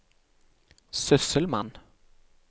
sysselmann